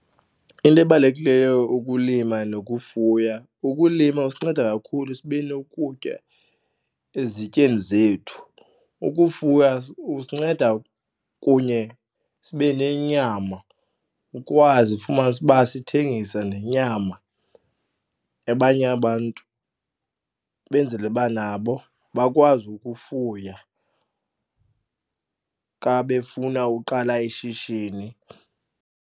Into ebalulekileyo ukulima nokufuya ukulima kusinceda kakhulu sibe nokutya ezityeni zethu. Ukufuya usinceda kunye sibe nenyama ukwazi ufumanise ukuba sithengise nenyama, abanye abantu benzele uba nabo bakwazi ukufuya xa befuna uqala ishishini.